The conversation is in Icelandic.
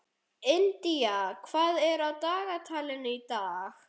India, hvað er á dagatalinu í dag?